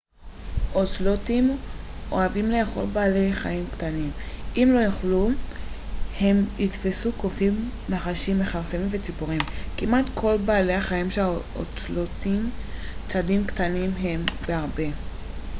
אוצלוטים אוהבים לאכול בעלי חיים קטנים אם יוכלו הם יתפסו קופים נחשים מכרסמים וציפורים כמעט כל בעלי החיים שהאוצלוטים צדים קטנים מהם בהרבה